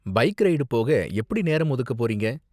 Bike ride போக எப்படி நேரம் ஒதுக்க போறீங்க?